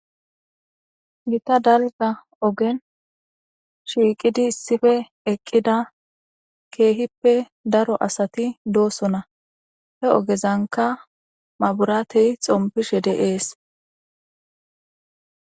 Gita dalga ogen shiqid issipe eqida keehippe daro asat dosona. He ogeznka mabiratey xompishe de'es.